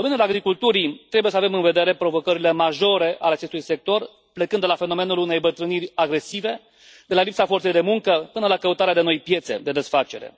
În domeniul agriculturii, trebuie să avem în vedere provocările majore ale acestui sector plecând de la fenomenul unei îmbătrâniri agresive, de la lipsa forței de muncă, până la căutarea de noi piețe de desfacere.